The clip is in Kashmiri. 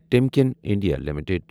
تِمکٮ۪ن انڈیا لِمِٹٕڈ